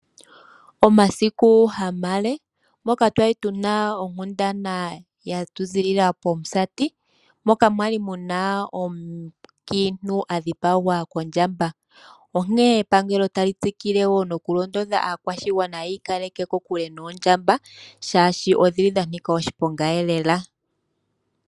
Omasiku ha male, moka twali tu na onkundana yetu okuziilila pomusati, moka mwali mu na omukiintu adhipagwa kondjamba. Onkene epangelo ota li tsikile nokulondodha aakwashigwana yiikaleke kokule noondjamba, shaashi odhili dha nika oshiponga elela.